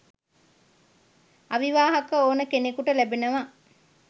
අවිවාහක ඕන කෙනෙකුට ලැබෙනව.